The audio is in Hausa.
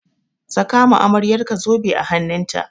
Saka ma amaryarka zobe a hannun ta!